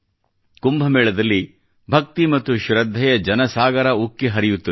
ಕುಂಭಮೇಳದಲ್ಲಿ ಭಕ್ತಿ ಮತ್ತು ಶ್ರದ್ಧೆಯ ಜನಸಾಗರ ಉಕ್ಕಿ ಹರಿಯುತ್ತದೆ